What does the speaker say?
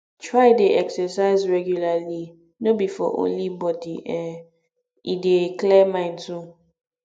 try de exercise regularly no be for only body um e dey clear mind too